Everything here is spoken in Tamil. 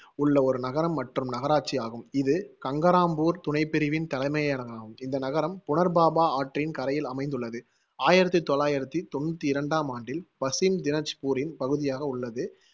உள்ள ஒரு நகரம் மற்றும் நகராட்சி ஆகும். இது கங்கராம்பூர் துணைப்பிரிவின் தலைமையகம்காம். இந்த நகரம் புனர்பாபா ஆற்றின் கரையில் அமைந்துள்ளது. ஆயிரத்தி தொள்ளாயிரத்தி தொண்ணூத்தி இரண்டாம் ஆண்டில் பசிம் தினஜ்பூரின் பகுதியாக உள்ளது